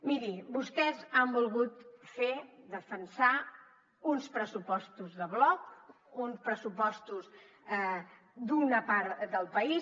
miri vostès han volgut fer defensar uns pressupostos de bloc uns pressupostos d’una part del país